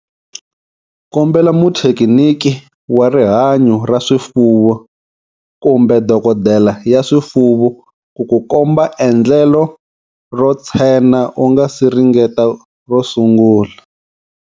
Kombela muthekiniki wa rihanyo ra swifuwo kumbe dokodela ya swifuwo ku ku komba endlelo ro tshena u nga si ringeta ro sungula.